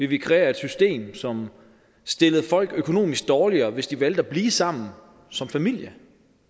vi kreere et system som stillede folk økonomisk dårligere hvis de valgte at blive sammen som familier